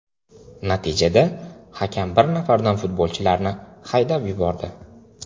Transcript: Natijada hakam bir nafardan futbolchilarni haydab yubordi.